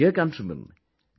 My dear countrymen,